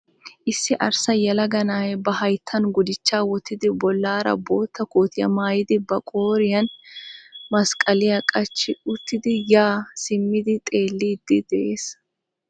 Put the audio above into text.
Issi arssa yelaga na'ay ba hayittan gudichchaa wottidi bollaara bootta kootiyaa maayidi ba qooriyan masqqaliya qachchi uttidi yaa simmidi xeelliddi de'ees.